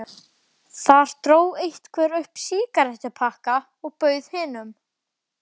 Þar dró einhver upp sígarettupakka og bauð hinum.